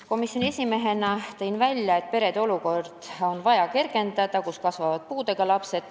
Komisjoni esimehena rääkisin sellest, et on vaja kergendada selliste perede olukorda, kus kasvavad puudega lapsed.